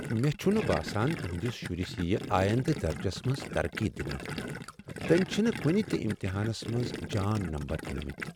مے٘ چھُنہٕ باسان تُہندِس شُرِس یی آیندٕ درجس منز ترقی دنہٕ۔ تٔمۍ چھِنہٕ کنِہ تِہ امتحانس منٛز جان نمبر انِمٕتۍ ۔